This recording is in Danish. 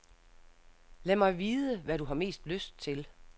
Lad mig vide, hvad du har mest lyst til.